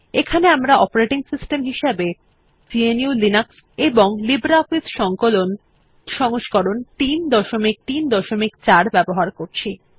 এখানে আমরা operating system হিসেবে গ্নু লিনাক্স এবং লিব্রিঅফিস সংকলন সংস্করণ ৩৩৪ ব্যবহার করছি